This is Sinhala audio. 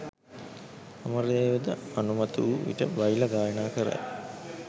අමරදේව ද අනුමත වූ විට බයිලා ගායනා කරයි